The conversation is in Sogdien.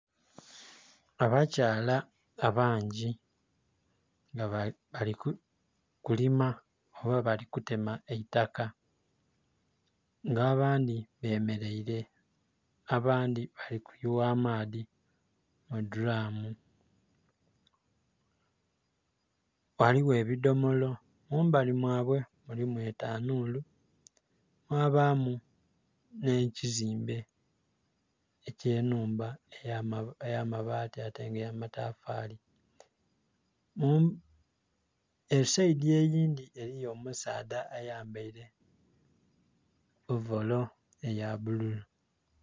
Abakyala abangi nga bali kulima oba bali kutema eitaka nga abandhi bemereire abandhi balikuyugha amaadhi mu dhulamu. Ghaligho ebidhomolo mumbali mwa we mulimu etanhulu mwabamu nhe kizimbe ekye nhumba eya mabati ate nga ya matafali. Esaidhi eyindhi eriyo omusaadha ayambaire ovolo eya bululu.